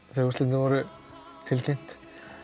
þegar úrslitin voru tilkynnt